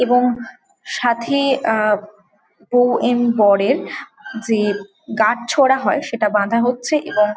এবং সাথে অ্যা বৌ এন বরে যে গাঁছছড়া হয় সেটা বাধা হচ্ছে এবং ।